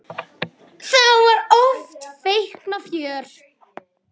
Þá var oft feikna fjör.